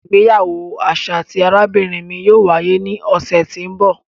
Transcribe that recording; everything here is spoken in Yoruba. Ìgbéyàwó aṣa ti arabinrin mi yóò waye ni ọsẹ ti n bọ.